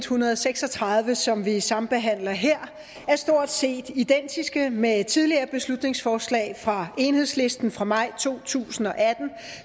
hundrede og seks og tredive som vi sambehandler her er stort set identiske med tidligere beslutningsforslag fra enhedslisten fra maj to tusind og atten